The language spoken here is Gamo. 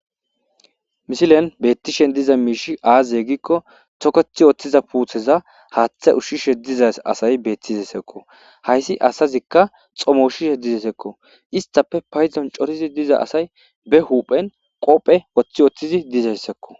Misilen beettishen diza miishi aaze gikko tokethi ooththiza puutheza haaththe ushshishe dizas asay beettizasakko hayssi asazikka xomo ushishe dizesekko istappe payzon corizi diza asay be huphen qophe woththi oththizi dizayssakko.